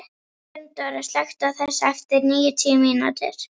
Gunndóra, slökktu á þessu eftir níutíu mínútur.